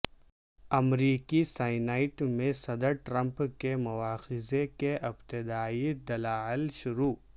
امریکی سینیٹ میں صدر ٹرمپ کے مواخذے کے ابتدائی دلائل شروع